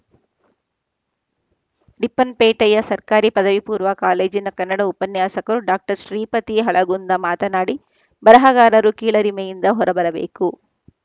Ripon ಪೇಟೆಯ ಸರ್ಕಾರಿ ಪದವಿಪೂರ್ವ ಕಾಲೇಜಿನ ಕನ್ನಡ ಉಪನ್ಯಾಸಕರು ಡಾಕ್ಟರ್ ಶ್ರೀಪತಿ ಹಳಗುಂದ ಮಾತನಾಡಿ ಬರಹಗಾರರು ಕೀಳರಿಮೆಯಿಂದ ಹೊರ ಬರಬೇಕು